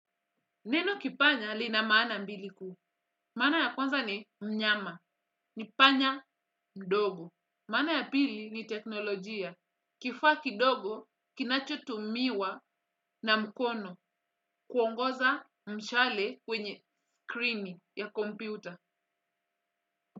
Neno kipanya lina maana mbili ku. Maana ya kwanza ni mnyama. Ni panya mdogo. Maana ya pili ni teknolojia. Kifaki dogo kinachotumiwa na mkono kuongoza mshale kwenye krini ya kompiuta.